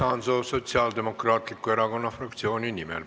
Hannes Hanso Sotsiaaldemokraatliku Erakonna fraktsiooni nimel.